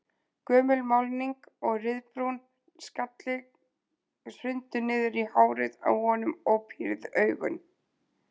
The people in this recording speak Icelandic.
Gömul málning og ryðbrúnn salli hrundu niður í hárið á honum og pírð augun.